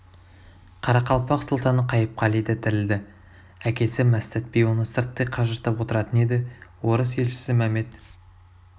қарақалпақ сұлтаны қайыпқали да тірілді әкесі мәстәт би оны сырттай қажыртып отыратын еді орыс елшісі мәмед